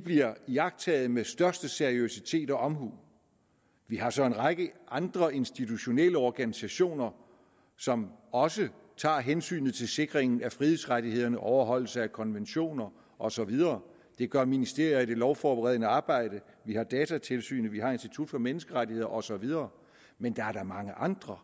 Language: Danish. bliver iagttaget med største seriøsitet og omhu vi har så en række andre institutionelle organisationer som også tager hensyn til sikringen af frihedsrettighederne og overholdelsen af konventioner og så videre det gør ministeriet i det lovforberedende arbejde vi har datatilsynet og vi har institut for menneskerettigheder og så videre men der er da mange andre